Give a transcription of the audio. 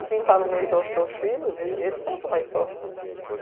E quem tá no meio, que eu acho que é os filhos, esse é o que mais sofre, né?